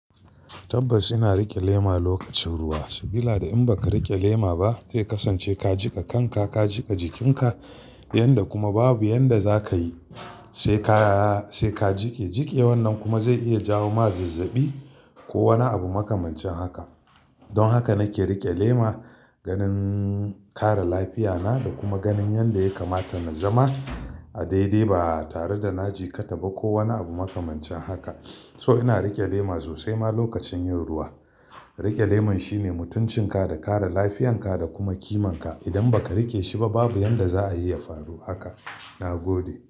Tabbas ina riƙe lema lokacin ruwa. Sabila da in ba ka riƙe lema ba, zai kasance ka jika kanka, ka jika jikinka yanda kuma babu yanda za ka yi sai ka, sai ka jike jike. Wannan kuma zai iya jawo ma zazzabi ko wani abu makamancin haka. Don haka nake riƙe lema ganin kare lafiya na da kuma ganin yanda ya kamata na zama a daidai ba tare da na jikata ba ko wani abu makamancin haka. So ina riƙe lema sosai ma lokacin yin ruwa. Riƙe lemon shine mutuncin ka da kare lafiyarka da kuma kimanka. Idan ba ka riƙe shi ba, babu yanda za a yi ya faru haka. Na gode.